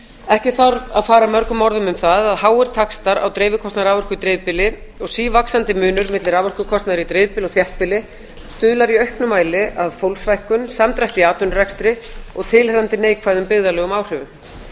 ekki þarf að fara mörgum orðum um það að háir taxtar á dreifikostnaði raforku í dreifbýli og sívaxandi munur milli raforkukostnaðar í dreifbýli og þéttbýli stuðlar í auknum mæli að fólksfækkun samdrætti í atvinnurekstri og tilheyrandi neikvæðum byggðarlegum áhrifum